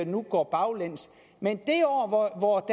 nu går baglæns men i det år hvor